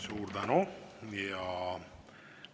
Suur tänu!